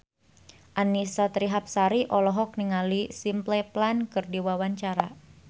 Annisa Trihapsari olohok ningali Simple Plan keur diwawancara